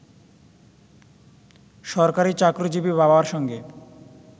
সরকারি চাকরিজীবী বাবার সঙ্গে